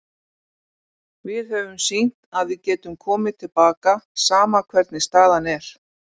Við höfum sýnt að við getum komið til baka, sama hvernig staðan er.